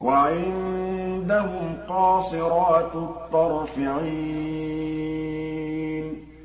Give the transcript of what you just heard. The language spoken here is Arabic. وَعِندَهُمْ قَاصِرَاتُ الطَّرْفِ عِينٌ